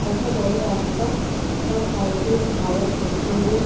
একটা বড় রাস্তা তার সাইড দিয়ে ভারত পেট্রলিয়াম |